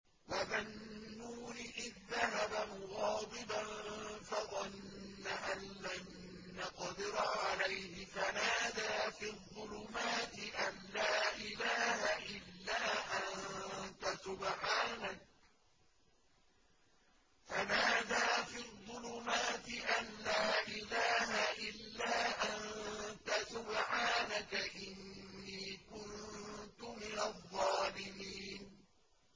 وَذَا النُّونِ إِذ ذَّهَبَ مُغَاضِبًا فَظَنَّ أَن لَّن نَّقْدِرَ عَلَيْهِ فَنَادَىٰ فِي الظُّلُمَاتِ أَن لَّا إِلَٰهَ إِلَّا أَنتَ سُبْحَانَكَ إِنِّي كُنتُ مِنَ الظَّالِمِينَ